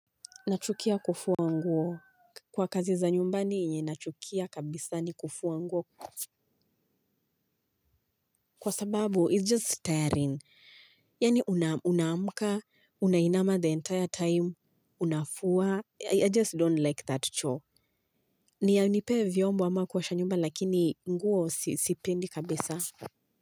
Nachukia kufua nguo kwa kazi za nyumbani yenye nachukia kabisa ni kufua nguo kwa sababu it's just tiring. Yaani unaamka, unainama the entire time, unafua. I just don't like that chore. Nipe vyombo ama kuosha nyumba lakini nguo sipendi kabisa.